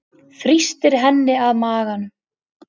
Þrýstir henni að maganum.